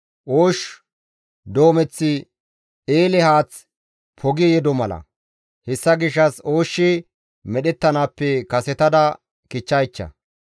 Oosh doomeththi eele haath pogi yeddo mala; hessa gishshas ooshshi medhettanaappe kasetada kichchaycha.